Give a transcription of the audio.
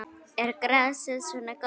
Er grasið svona gott?